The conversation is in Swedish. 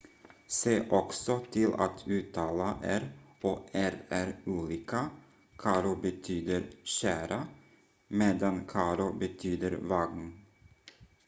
se också till att uttala r och rr olika caro betyder kära medan carro betyder vagn